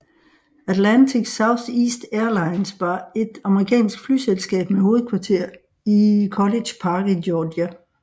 Atlantic Southeast Airlines var et amerikansk flyselskab med hovedkvarter i College Park i Georgia